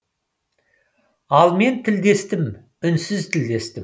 ал мен тілдестім үнсіз тілдестім